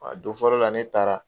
Wa don fɔlɔ la ne taara.